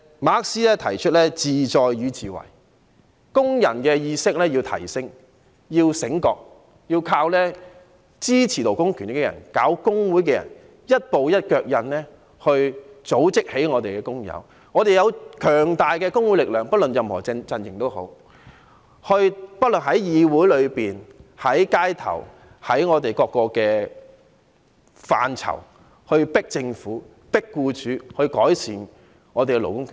馬克思提出"自在與自為"，工人意識要提升，要醒覺，要靠支持勞工權益的人、搞工會的人，一步一腳印去組織起我們的工友，我們有強大的工會力量，不論任何陣營也好，無論在議會裏面、在街頭，在各個範疇去迫政府，迫僱主改善我們的勞工權益。